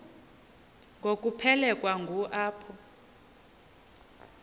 ngokuphelekwa ngu apho